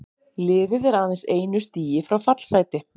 Liðið er aðeins einu stigi frá fallsæti.